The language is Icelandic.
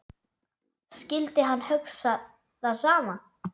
Skyldi hann hugsa það sama?